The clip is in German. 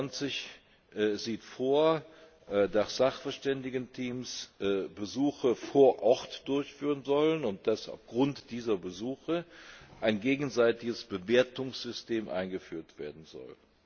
23 sieht vor, dass Sachverständigenteams Besuche vor Ort durchführen sollen und dass aufgrund dieser Besuche ein gegenseitiges Bewertungssystem eingeführt werden soll.